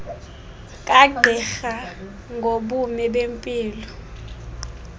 kagqirha ngobume bempilo